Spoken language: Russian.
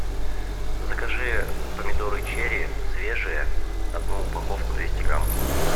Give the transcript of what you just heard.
закажи помидоры черри свежие одну упаковку двести грамм